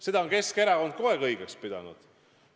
Seda on Keskerakond kogu aeg õigeks pidanud.